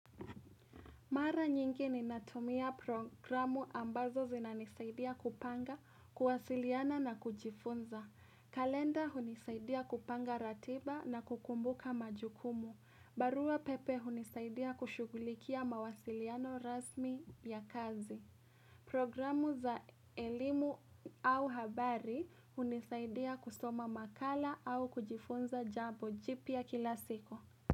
Mara nyingi ninatumia programu ambazo zinanisaidia kupanga, kuwasiliana na kujifunza. Kalenda hunisaidia kupanga ratiba na kukumbuka majukumu. Barua pepe hunisaidia kushughulikia mawasiliano rasmi ya kazi. Programu za elimu au habari hunisaidia kusoma makala au kujifunza jambo jipya kila siku.